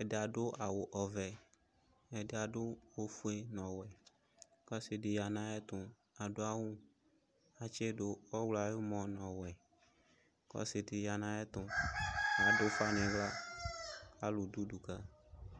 ɛdɩ adʊ awʊ ɔvɛ ɛdɩ adʊ ofue nʊ ɔwɛ kʊ ɔsɩdɩ yanʊ ayʊ etʊ kʊ adʊ awʊ kʊ atsɩdʊ ɔwlɔ ayʊmɔ nʊ ɔwɛ kʊ ɔsɩdɩ ya nʊ ayʊ ɛtʊ adʊ ʊfa nʊ ihla alʊdʊ ʊdʊ ka